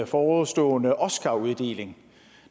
forestående oscaruddeling